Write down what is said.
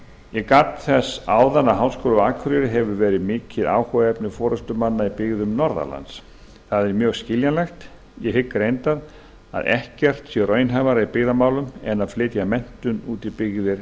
ég gat þess áðan að háskóli á akureyri hefur verið mikið áhugaefni forustumanna í byggðum norðan lands það er mjög skiljanlegt ég hygg reyndar að ekkert sé raunhæfara í byggðamálum en að flytja menntun út í byggðir